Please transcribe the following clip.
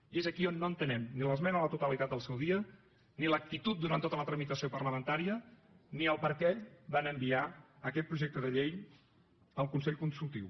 i és aquí on no entenem ni l’esmena a la totalitat en el seu dia ni l’actitud durant tota la tramitació parlamentària ni per què van enviar aquest projecte de llei al consell consultiu